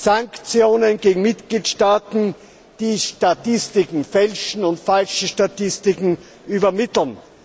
Sanktionen gegen die Mitgliedstaaten, die Statistiken fälschen und falsche Statistiken übermitteln.